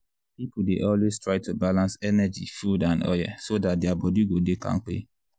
people dey always try to balance energy food and oil so dat their body go dey kampe.